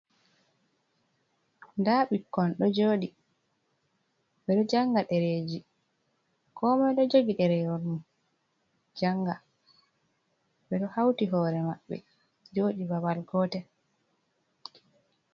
Nda ɓukkon ɗo joɗi, ɓeɗo janga ɗereji, ko moi ɗo jogi ɗerewol mun janga ɓe ɗoh hauti hore maɓɓe joɗi babal gotel.